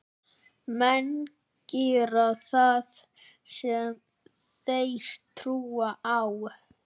Menn gera það sem þeir trúa á.